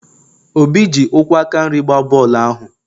obi ji ụkwụ aka nri gbaa bọọlụ ahụ